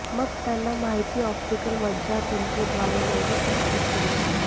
मग त्यांना माहिती ऑप्टिकल मज्जातंतू द्वारे मेंदू प्रसारित केला जातो